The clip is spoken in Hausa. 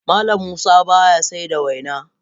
Mallam Musa baya saida waina.